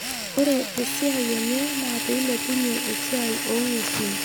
Ore esiai enye naa peilepunye esiai oong'uesin.